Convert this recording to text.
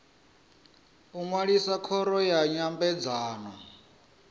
u ṅwalisa khoro ya nyambedzano